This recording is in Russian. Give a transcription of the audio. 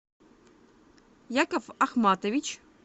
яков ахматович